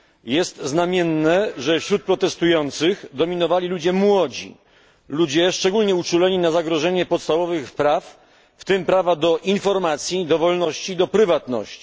Jest znamienne, że wśród protestujących dominowali ludzie młodzi, ludzie szczególnie uczuleni na zagrożenie podstawowych praw, w tym prawa do informacji, do wolności i do prywatności.